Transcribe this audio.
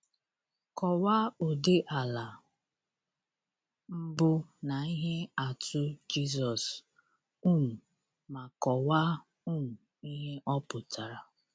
Kọwaa ụdị ala mbụ na ihe atụ Jisọs, um ma kọwaa um ihe ọ pụtara.